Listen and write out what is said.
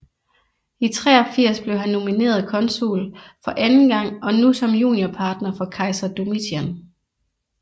I 83 blev han nomineret konsul for anden gang og nu som juniorpartner for kejser Domitian